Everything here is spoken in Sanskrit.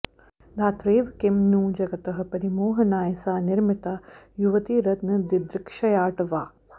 धात्रैव किं नु जगतः परिमोहनाय सा निर्मिता युवतिरत्नदिदृक्षयाट् वा